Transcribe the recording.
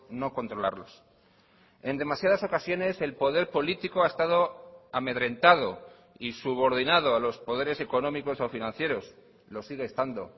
no controlarlos en demasiadas ocasiones el poder político ha estado amedrentado y subordinado a los poderes económicos o financieros lo sigue estando